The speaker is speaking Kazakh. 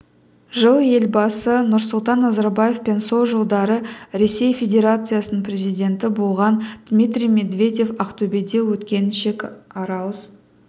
жыл елбасы нұрсұлтан назарбаев пен сол жылдары ресей федерациясының президенті болған дмитрий медведев ақтөбеде өткен шекаралас